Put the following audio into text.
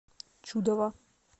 чудово